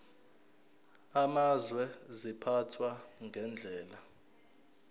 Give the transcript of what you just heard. amazwe ziphathwa ngendlela